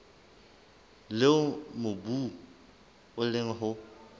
leo mobu o leng ho